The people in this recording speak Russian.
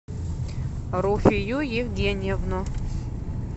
руфию евгеньевну